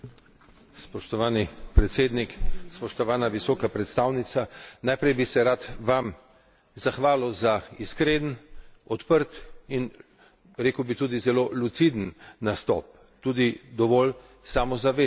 Spoštovani predsednik, spoštovana visoka predstavnica, najprej bi se rad vam zahvalil za iskren, odprt in rekel bi tudi zelo luciden nastop, tudi dovolj samozavesten.